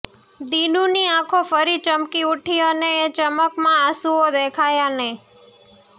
દિનુની આંખો ફરી ચમકી ઉઠી અને એ ચમકમાં આસુંઓ દેખાયા નહિ